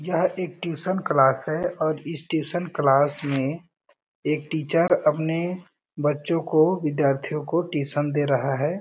यह एक tuition class है और इस ट्यूशन क्लास में एक टीचर अपने बच्चो को विद्यार्थीयो को ट्यूशन दे रहा है।